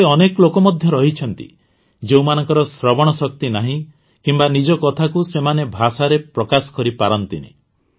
ଏଭଳି ଅନେକ ଲୋକ ମଧ୍ୟ ରହିଛନ୍ତି ଯେଉଁମାନଙ୍କ ଶ୍ରବଣ ଶକ୍ତି ନାହିଁ କିମ୍ବା ନିଜ କଥାକୁ ସେମାନେ ଭାଷାରେ ପ୍ରକାଶ କରିପାରନ୍ତିନି